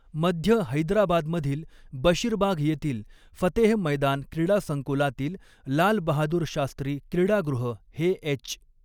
मध्य हैदराबादमधील बशीरबाग येथील फतेह मैदान क्रीडा संकुलातील लाल बहादूर शास्त्री क्रीडागृह हे एच.